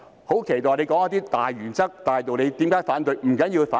我期待他說出一些大原則、大道理，談談為何要反對。